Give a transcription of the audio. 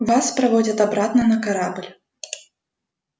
вас проводят обратно на корабль